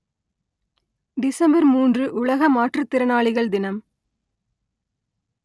December மூன்று உலக மாற்றுதிறனாளிகள் தினம்